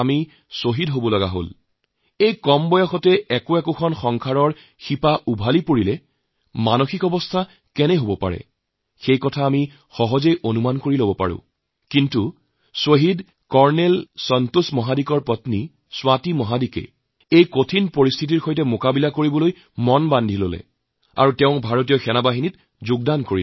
আমি কেৱল চিন্তা কৰিব পাৰো যে ইমান কম বয়সতে সংসাৰ নিঃশেষ হলে মনৰ অৱস্থা কেনে হব কিন্তু শ্বহীদ কৰ্নেল সন্তোষ মহাদিকৰ স্ত্ৰী স্বাতি মহাদিকে এই কঠিন পৰিস্থিতিৰ বিৰুদ্ধে যুঁজি এই সিদ্ধান্ত লয় আৰু ভাৰতীয় সেনাত যোগদান কৰে